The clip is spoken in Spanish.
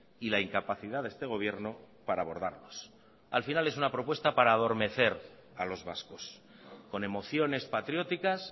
y la incapacidad de este gobierno para abordarlos al final es una propuesta para adormecer a los vascos con emociones patrióticas